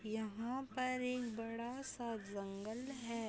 यहाँ पर एक बड़ा सा जंगल है।